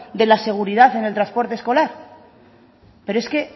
de la seguridad en el transporte escolar pero es que